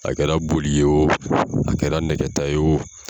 A kɛra boli ye wo a kɛra nɛgɛta ye wo.